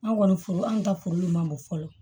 An kɔni furu an ka furu min man bon fɔlɔ